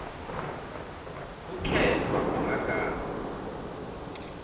kukhetfwa kwemagama